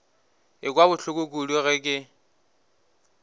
ekwa bohloko kudu ge ke